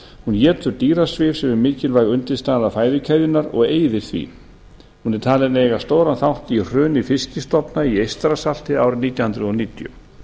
étur dýrasvif sem er mikilvæg undirstaða fæðukeðjunnar og eyðir því hún er talin eiga stóran þátt í hruni fiskstofna í eystrasalti árið nítján hundruð níutíu